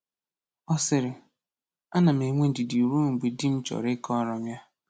Ọ sịrị: “Ana m enwe ndidi ruo mgbe di m chọrọ ịkọrọ m ya”